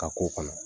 Ka k'o kɔnɔ